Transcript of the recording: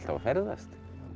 að ferðast